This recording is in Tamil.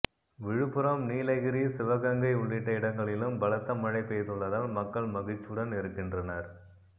விழுப்புரம் நிலகிரி சிவகங்கை உள்ளிட்ட இடங்களிலும் பலத்த மழை பெய்துள்ளதால் மக்கள் மகிழ்ச்சியுடன் இருக்கின்றனர்